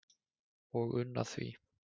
og unna því